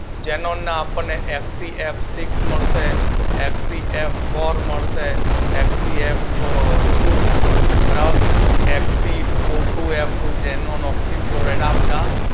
xenon ના આપડને F C F six મળશે એફસીએફફોર મળશે એફસીએફટુ અને એફસીઑટુએફટુ ઝેનોન ઓકસી ફ્લોરાઈડ આ બધા